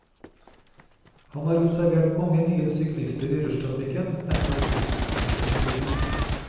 Han har observert mange nye syklister i rushtrafikken etter at busstreiken brøt ut.